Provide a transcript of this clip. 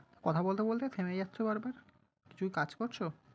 কথা বলতে বলতে থেমে যাচ্ছো বার বার, কিছু কাজ করছো?